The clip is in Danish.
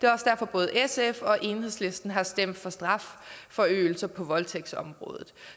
både sf og enhedslisten har stemt for strafforøgelse på voldtægtsområdet